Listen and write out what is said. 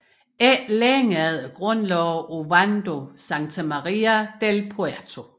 Ikke længe efter grundlagde Ovando Santa Maria del Puerto